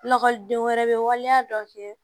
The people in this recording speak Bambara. Lakɔliden wɛrɛ bɛ waleya dɔ kɛ